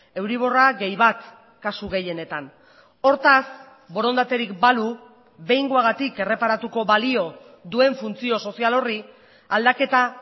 euriborra gehi bat kasu gehienetan hortaz borondaterik balu behingoagatik erreparatuko balio duen funtzio sozial horri aldaketa